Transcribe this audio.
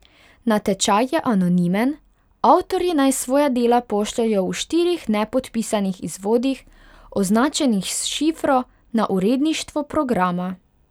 Natečaj je anonimen, avtorji naj svoja dela pošljejo v štirih nepodpisanih izvodih, označenih s šifro, na uredništvo programa.